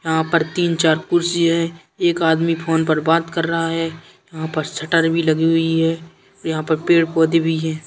यहाँ पर तीन चार कुर्सी है। एक आदमी फ़ोन पर बात कर रहा है। यहाँ पर शटर भी लगी हुई है। यहाँ पर पेड़-पौधे भी हैं।